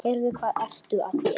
Heyrðu. hvað ertu að gera?